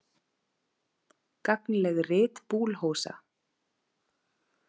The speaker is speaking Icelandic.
Gagnleg rit Boulhosa.